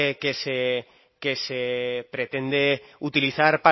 que se pretende utilizar